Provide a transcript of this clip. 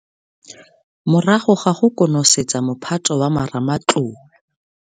Morago ga go konosetsa mophato wa marematlou.